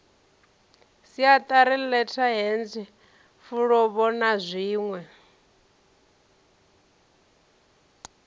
siatari letterheads fulubo na zwinwe